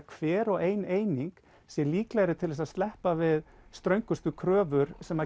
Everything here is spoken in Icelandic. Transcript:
hver og ein eining sé líklegri til að sleppa við ströngustu kröfur sem